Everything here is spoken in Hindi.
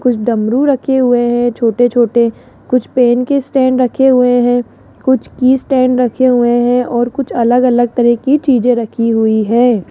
कुछ डमरू रखे हुए हैं छोटे छोटे कुछ पेन के स्टैंड रखे हुए हैं कुछ की स्टैंड रखे हुए हैं और कुछ अलग अलग तरह की चीजें रखी हुई है।